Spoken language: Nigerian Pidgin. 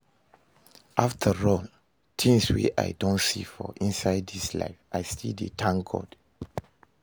After all the things wey I don see for inside this life, I still dey thank God